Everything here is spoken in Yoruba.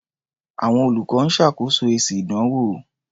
Àwọn olùkọ́ ń ṣàkọsílẹ̀ èsì ìdánwò.